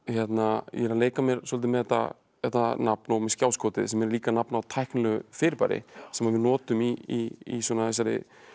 ég er að leika mér svolítið með þetta þetta nafn og með skjáskotið sem er líka nafn á tæknilegu fyrirbæri sem við notum í þessari